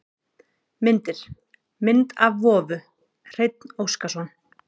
Myndir: Mynd af vofu: Hreinn Óskarsson.